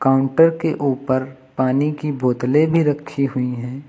Counter के ऊपर पानी की बोतले भी रखी हुई हैं।